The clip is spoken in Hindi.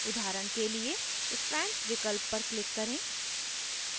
उदाहरण के लिए strands विकल्प पर click करें